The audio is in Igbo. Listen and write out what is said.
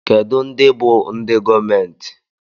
Kedụ ndị bú ndị gọọmenti?